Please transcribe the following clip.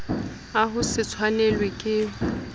a ho se tshwanelwe ke